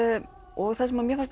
og það sem mér fannst